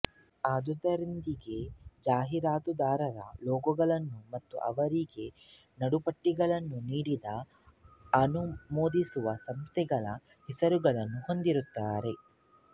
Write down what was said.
ಅದರೊಂದಿಗೆ ಜಾಹಿರಾತುದಾರರ ಲೋಗೊಗಳನ್ನು ಮತ್ತು ಅವರಿಗೆ ನಡುಪಟ್ಟಿಗಳನ್ನು ನೀಡಿದ ಅನುಮೋದಿಸುವಸಂಸ್ಥೆಗಳ ಹೆಸರುಗಳನ್ನು ಹೊಂದಿರುತ್ತಾರೆ